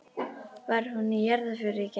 Var hún í jarðarför í gær?